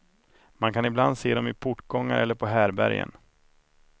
Man kan ibland se dem i portgångar eller på härbärgen.